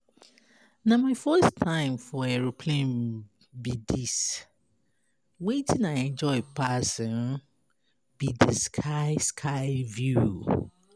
Na my first time for aeroplane be um dis, wetin I enjoy pass um be the sky sky view